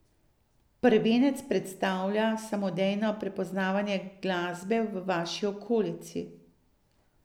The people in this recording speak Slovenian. Prvenec predstavlja samodejno prepoznavanje glasbe v vaši okolici.